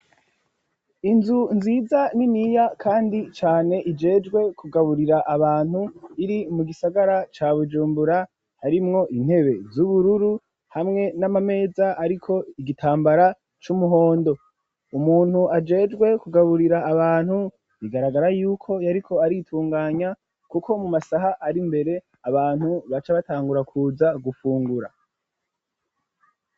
Inzu nziza ni niya, kandi cane ijejwe kugaburira abantu iri mu gisagara ca bujumbura harimwo intebe z'ubururu hamwe n'amameza ariko igitambara c'umuhondo, umuntu ajejwe kugaburira abantu igaragara yuko yariko aritunganya kuko mu masaha ari mbere abantu baca batangura kuza gufungura.